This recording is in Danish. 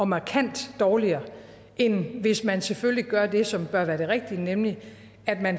markant dårligere end hvis man selvfølgelig gør det som bør være det rigtige nemlig